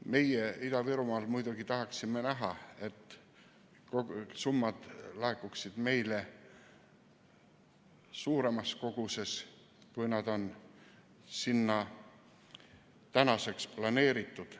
Meie Ida-Virumaal muidugi tahaksime näha, et summad laekuksid meile suuremas koguses, kui on sinna planeeritud.